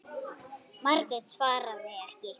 Margrét svaraði ekki.